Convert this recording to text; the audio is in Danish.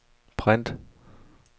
print